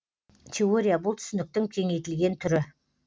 теория бұл түсініктің кеңейтілген түрі